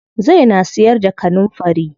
Zai na siyar da kanunfari.